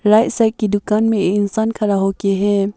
Toys shop की दुकान में एक इंसान खड़ा हो के है।